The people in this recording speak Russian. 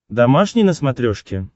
домашний на смотрешке